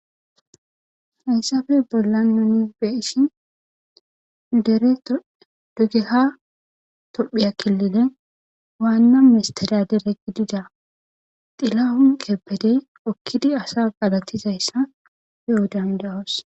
Hayssafe bolla noni be ishi dere dugeka tophiya killine waanna mistiriya dere gidida xilla hun qepbedey okkidi asa galattizayssa yo'o dandawoos.